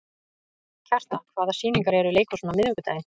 Kjartan, hvaða sýningar eru í leikhúsinu á miðvikudaginn?